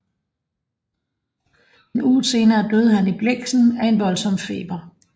En uge senere døde han i Blexen af en voldsom feber